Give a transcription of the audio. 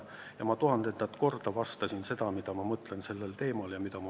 Ja ma tuhandendat korda selgitasin, mida ma nendest asjadest mõtlen.